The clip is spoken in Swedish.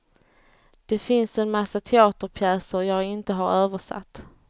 Det finns en massa teaterpjäser jag inte har översatt.